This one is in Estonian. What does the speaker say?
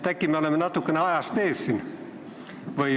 Äkki me oleme natuke ajast ees?